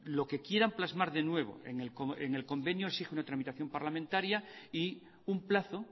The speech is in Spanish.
lo que quieran plasmar de nuevo en el convenio exige una tramitación parlamentaria y un plazo